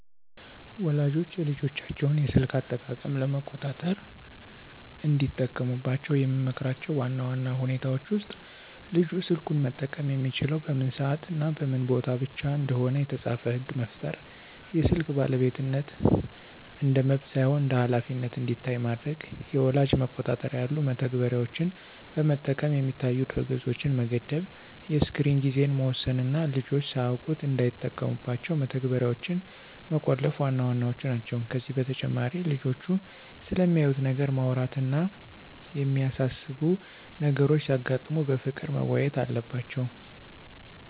ወላጆች የልጆቻቸውን የስልክ አጠቃቀም ለመቆጣጠር እንዲጠቀሙባቸው የምመክራቸው ዋና ዋና ሁኔታዎች ውስጥ፦ ልጁ ስልኩን መጠቀም የሚችለው በምን ሰዓትና በምን ቦታ ብቻ እንደሆነ የተጻፈ ሕግ መፍጠር፣ የስልክ ባለቤትነት እንደ መብት ሳይሆን እንደ ኃላፊነት እንዲታይ ማድረግ፣ የወላጅ መቆጣጠሪያ ያሉ መተግበሪያዎችን በመጠቀም የሚታዩ ድረ-ገጾችን መገደብ፣ የስክሪን ጊዜን መወሰን እና ልጆች ሳያውቁት እንዳይጠቀሙባቸው መተግበሪያዎችን መቆለፍ ዋና ዋናዎቹ ናቸው። ከዚህ በተጨማሪ ልጆቹ ስለሚያዩት ነገር ማውራት እና የሚያሳስቡ ነገሮች ሲያጋጥሙ በፍቅር መወያየት አለባቸው።